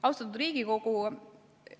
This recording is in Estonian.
Austatud Riigikogu!